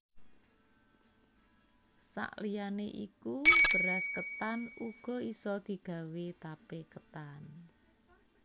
Sak liyane iku beras ketan uga isa digawé tape ketan